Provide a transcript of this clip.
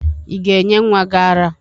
Ị ga-enye nwa gị àrá?